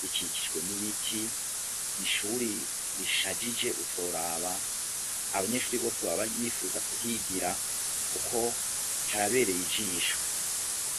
rikikijwe n'ibiti n'ishuri rishashije utoraba abanyeshurebose baba bipfuza kuhigira kuko harabereye ijisho.